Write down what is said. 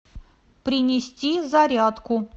принести зарядку